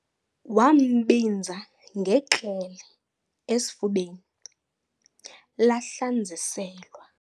Wambinza ngekrele esifubeni, lahlanz' iselwa.